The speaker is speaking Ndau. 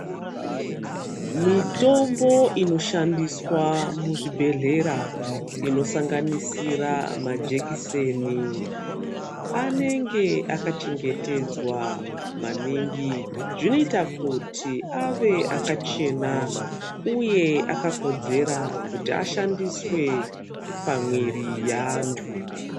Mitombo inoshandiswa muzvibhehlera inosanganisira majekiseni anenge akachengetedzwa maningi zvinoita kuti ave akachena uye akakodzera kuti ashandiswe pamwiri yeantu.